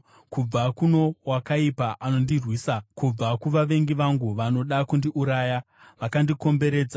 kubva kuno wakaipa anondirwisa, kubva kuvavengi vangu, vanoda kundiuraya, vakandikomberedza.